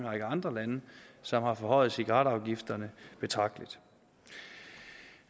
række andre lande som har forhøjet cigaretafgifterne betragteligt